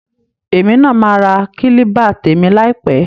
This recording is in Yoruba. Èmi náa maa ra kílíbà tèmi láìpẹ́